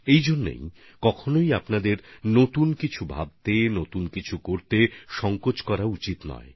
এজন্য আপনাদের কখনই নতুন ভাবনা নতুন কাজ নিয়ে কোনরকম দ্বিধা রাখা উচিৎ নয়